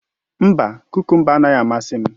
Mba, kukumba anaghị amasị m